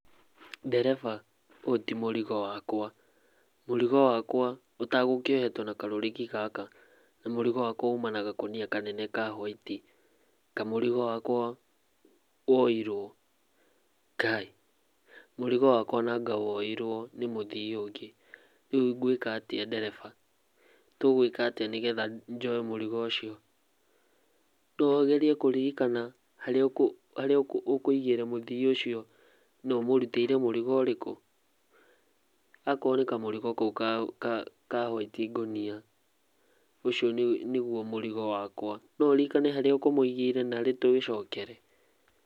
Ndereba ũyũ ti mũrigo wakwa, mũrigo wakwa ũtagũkĩohetwo na karũrigi gaka mũrigo wakwa ũma na gakũnia kanene ka hwaiti. Kaĩ mũrigo wakwa woirwo? Ngai! Mũrigo wakwa nanga woirwo nĩ mũthii ũngĩ, rĩu ngwĩka atia ndereba tũgũĩka atia nĩgetha njoe mũrigo ũcio no ũgerie kuririkana haria ũkũigĩire mũthii ũcio na ũmũrutĩire mũrigo ũrĩkũ? akorwo nĩ kamũrigo kau ka hwaiti ngũnia ũcio nĩgũo mũrigo wakwa no ũririkane haria ũkũmũigĩire narĩ tũgĩcokere?